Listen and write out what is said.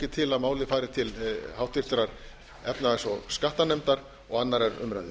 ég til að málið fari til háttvirtrar efnahags og skattanefndar og annarrar umræðu